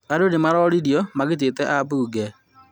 Andũ nĩ maroririo magitĩte ambunge